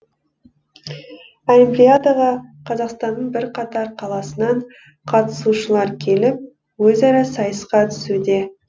олимпиадаға қазақстанның бірқатар қаласынан қатысушылар келіп өзара сайысқа түсуде